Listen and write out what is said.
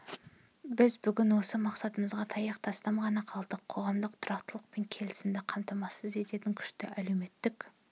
біз бүгін осы мақсатымызға таяқ тастам ғана қалдық қоғамдық тұрақтылық пен келісімді қамтамасыз еткен күшті әлеуметтік